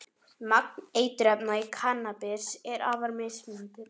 Magn eiturefna í kannabis er afar mismunandi.